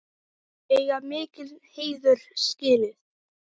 Þau eiga mikinn heiður skilið.